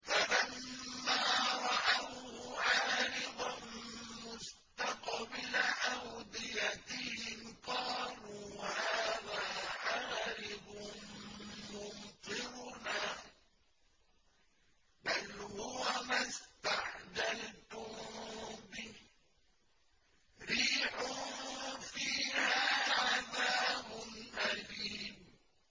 فَلَمَّا رَأَوْهُ عَارِضًا مُّسْتَقْبِلَ أَوْدِيَتِهِمْ قَالُوا هَٰذَا عَارِضٌ مُّمْطِرُنَا ۚ بَلْ هُوَ مَا اسْتَعْجَلْتُم بِهِ ۖ رِيحٌ فِيهَا عَذَابٌ أَلِيمٌ